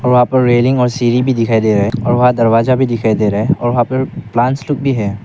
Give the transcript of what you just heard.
वहां पर रेलिंग और सीरी भी दिखाई दे रहा है और वहां दरवाजा भी दिखाई दे रहा है वहां पर प्लांट्स लोग भी हैं।